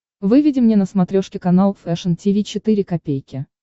выведи мне на смотрешке канал фэшн ти ви четыре ка